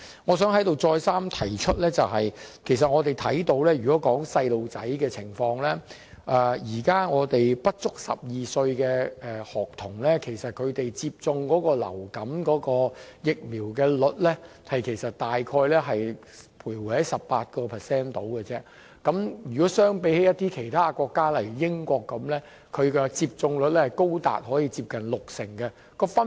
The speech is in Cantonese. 我想在這裏再三提出，我們看到小朋友的情況，現在不足12歲的學童，他們接種流感疫苗的比例大約是 18%。相比其他國家，例如英國，其有關的接種率是高達六成。